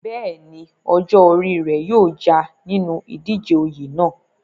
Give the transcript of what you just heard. bẹ́ẹ̀ni, ọjọ́ orí rẹ̀ yóò já a nínú ìdíje oyè náà